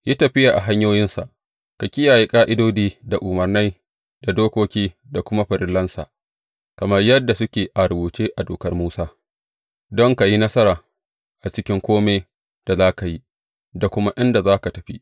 Yi tafiya a hanyoyinsa, ka kiyaye ƙa’idodi, da umarnai, da dokoki, da kuma farillansa, kamar yadda suke a rubuce a Dokar Musa, don ka yi nasara a cikin kome da za ka yi, da kuma inda za ka tafi.